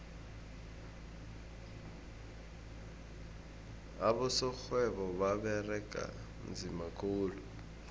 abosorhwebo baberega nzima khulu